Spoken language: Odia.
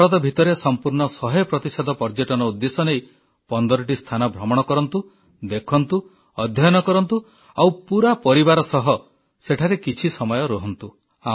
ଭାରତ ଭିତରେ ସମ୍ପୂର୍ଣ୍ଣ ଶହେ ପ୍ରତିଶତ ପର୍ଯ୍ୟଟନ ଉଦ୍ଦେଶ୍ୟ ନେଇ 15ଟି ସ୍ଥାନ ଭ୍ରମଣ କରନ୍ତୁ ଦେଖନ୍ତୁ ଅଧ୍ୟୟନ କରନ୍ତୁ ଆଉ ପୁରା ପରିବାର ସହ ସେଠାରେ କିଛି ସମୟ ରୁହନ୍ତୁ